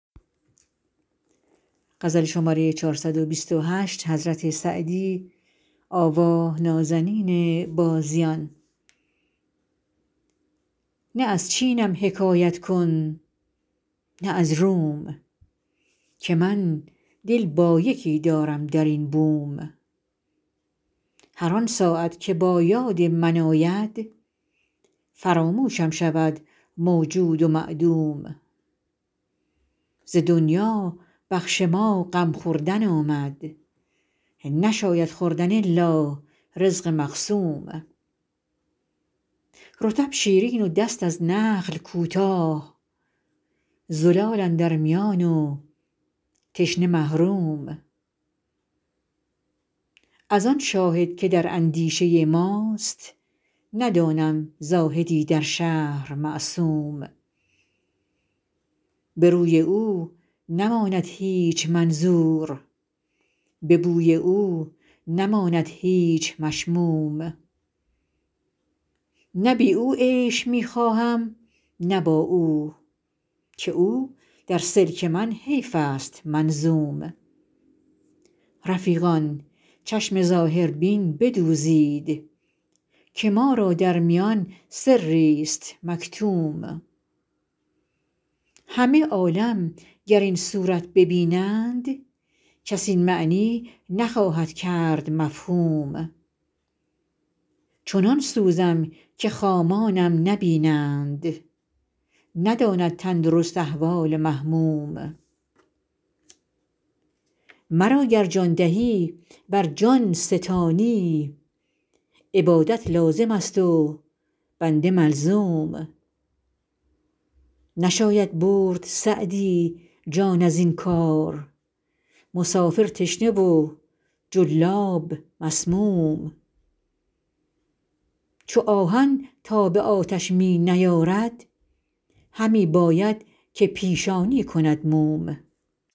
نه از چینم حکایت کن نه از روم که من دل با یکی دارم در این بوم هر آن ساعت که با یاد من آید فراموشم شود موجود و معدوم ز دنیا بخش ما غم خوردن آمد نشاید خوردن الا رزق مقسوم رطب شیرین و دست از نخل کوتاه زلال اندر میان و تشنه محروم از آن شاهد که در اندیشه ماست ندانم زاهدی در شهر معصوم به روی او نماند هیچ منظور به بوی او نماند هیچ مشموم نه بی او عیش می خواهم نه با او که او در سلک من حیف است منظوم رفیقان چشم ظاهربین بدوزید که ما را در میان سریست مکتوم همه عالم گر این صورت ببینند کس این معنی نخواهد کرد مفهوم چنان سوزم که خامانم نبینند نداند تندرست احوال محموم مرا گر دل دهی ور جان ستانی عبادت لازم است و بنده ملزوم نشاید برد سعدی جان از این کار مسافر تشنه و جلاب مسموم چو آهن تاب آتش می نیارد همی باید که پیشانی کند موم